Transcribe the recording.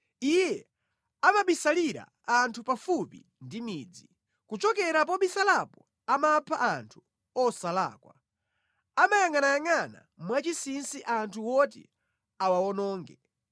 Iye amabisalira anthu pafupi ndi midzi, kuchokera pobisalapo amapha anthu osalakwa, amayangʼanayangʼana mwachinsinsi anthu oti awawononge.